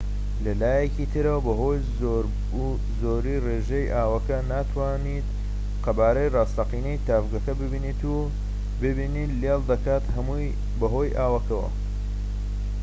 لەلایەکی ترەوە بەهۆی زۆریی ڕێژەی ئاوەکە ناتوانیت قەبارەی ڕاستەقینەی تاڤگەکە ببینیت و بینین لێڵ دەکات هەمووی بەهۆی ئاوەکەوە